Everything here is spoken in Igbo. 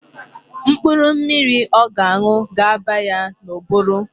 Mkpụrụ mmiri ọ ga-aṅụ ga aba ya n'ụbụrụ.